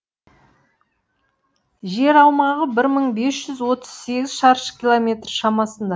жер аумағы бір мың бес жүз отыз сегіз шаршы километр шамасында